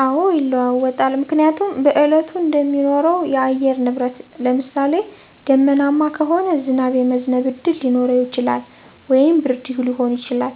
አዎ ይለዋወጣል ምክንያቱም በእለቱ እንደሚኖረው የአየር ንብረት ለምሳሌ :- ደመናማ ከሆነ ዝናብ የመዝነብ እድል ሊኖረው ይችላል ወይም ብርድ ሊሆን ይችላል።